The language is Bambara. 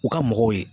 U ka mɔgɔw ye